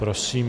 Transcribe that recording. Prosím.